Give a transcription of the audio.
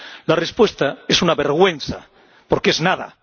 La respuesta es una vergüenza, porque es nada.